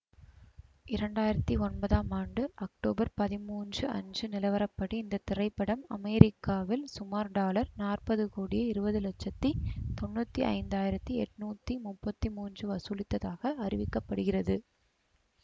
இரண்டாயிரத்தி ஒன்பதாம் ஆண்டு அக்டோபர் பதிமூன்று அன்று நிலவரப்படி இந்த திரைப்படம் அமெரிக்காவில் சுமார் டாலர் நாற்பது கோடியே இருபது லட்சத்தி தொன்னூத்தி ஐந்தாயிரத்தி எட்ணூத்தி முப்பத்தி மூன்று வசூலித்ததாக அறிவிக்க படுகிறது